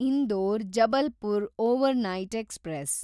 Indore Jabalpur overnight express